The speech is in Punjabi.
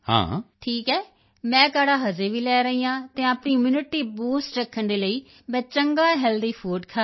ਠੀਕ ਹੈ ਮੈਂ ਕਾੜ੍ਹਾ ਅਜੇ ਵੀ ਲੈ ਰਹੀ ਹਾਂ ਅਤੇ ਆਪਣੀ ਇਮਿਊਨਿਟੀ ਬੂਸਟ ਰੱਖਣ ਦੇ ਲਈ ਮੈਂ ਚੰਗਾ ਹੈਲਥੀ ਫੂਡ ਖਾ ਰਹੀ ਹਾਂ